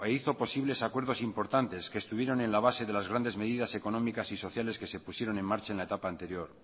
y hizo posibles acuerdos importantes que estuvieron en la base de las grandes medidas económicas y sociales que se pusieron en marcha en la etapa anterior